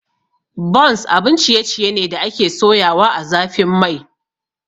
Buns abun ciye ciye ne da ake soyawa ã zafin Mai.